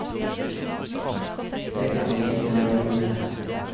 Det kan vi gjøre lite med.